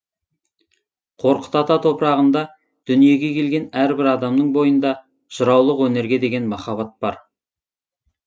қорқыт ата топырағында дүниеге келген әрбір адамның бойында жыраулық өнерге деген махаббат бар